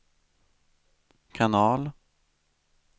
kanal